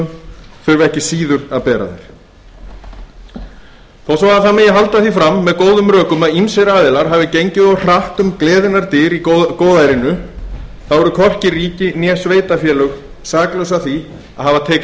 sveitarfélögin þurfa ekki síður að bera þau þó svo það megi halda því fram með góðum rökum að ýmsir aðilar hafi gengið of hratt um gleðinnar dyr í góðærinu þá eru hvorki ríki né sveitarfélög saklaus af því að hafa tekið